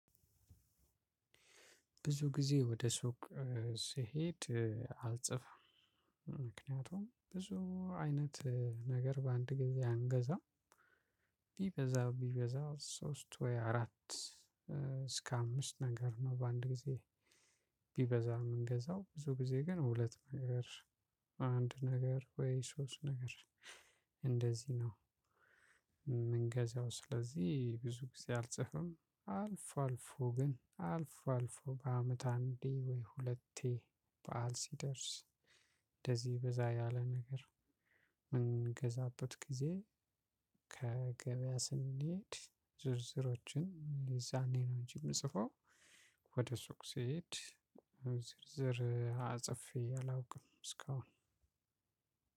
ብዙ ጊዜ ወደ ሱቅ ስሄድ አልጽፍም ምክንያቱም ብዙ አይነት ነገር በአንድ ጊዜ አንገዛም። ቢበዛ ቢበዛ ሶስት ወይ አራት እስከ አምስት ነገር ነው በአንድ ጊዜ። ቢበዛ የምንገዛው ብዙ ጊዜ ግን ሁለት ነገር አንድ ነገር ወይ ሶስት ነገር እንደዚህ ነው። የምንገዛው ስለዚህ ብዙ ጊዜ አልጽፍም። አልፎ አልፎ ግን አልፎ አልፎ በ አመት አንዴ ወይ ሁለቴ በዓል ሲደርስ እንደዚህ በዛ ያለ ነገር በምንገዛበት ጊዜ። ከገበያ ስንሄድ ዝርዝሮችን የዛኔ ነው እንጂ የምጽፈው። ወደ ሱቅ ስሄድ ዝርዝር ጽፌ አላውቅም እስካሁን።